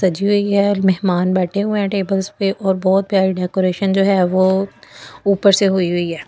सजी हुई है मेहमान बैठे हुए हैं टेबल्स पे और बहुत प्यारी डेकोरेशन जो है वो ऊपर से हुई हुई है।